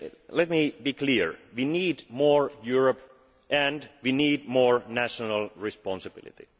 Let me be clear we need more Europe and we need more national responsibility.